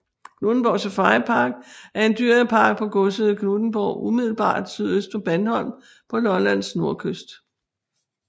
Knuthenborg Safaripark er en dyrepark på godset Knuthenborg umiddelbart sydøst for Bandholm på Lollands nordkyst